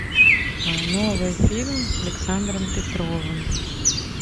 новый фильм с александром петровым